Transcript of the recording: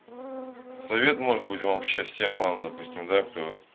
совет может быть вам счастья вам допустим да кто